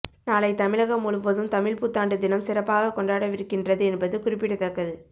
நாளை தமிழகம் முழுவதும் தமிழ்ப்புத்தாண்டு தினம் சிறப்பாக கொண்டாடவிருக்கின்றது என்பது குறிப்பிடத்தக்கது